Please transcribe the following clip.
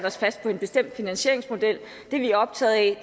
os fast på en bestemt finansieringsmodel det vi er optaget af